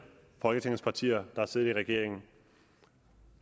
folketings partier har siddet i regeringen